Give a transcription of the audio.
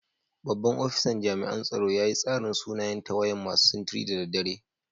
Babban ofisan jami'an tsaro ya yi tsarin sunayen tawayan masu sintiri da dare.